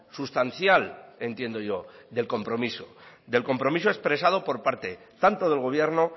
sustancial entiendo yo del compromiso del compromiso expresado por parte tanto del gobierno